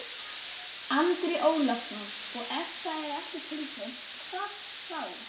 Andri Ólafsson: Og ef það er ekki tilkynnt, hvað þá?